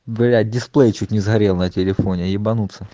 блять дисплей чуть не сгорел на телефоне ебанутся